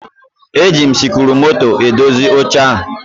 E ji m sikruumoto edozi oche a